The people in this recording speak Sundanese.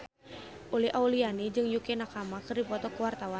Uli Auliani jeung Yukie Nakama keur dipoto ku wartawan